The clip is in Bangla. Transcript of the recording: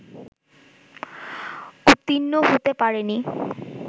উত্তীর্ণ হতে পারেনি